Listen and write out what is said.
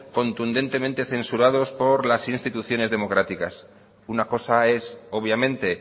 contundentemente censurados por las instituciones democráticas una cosa es obviamente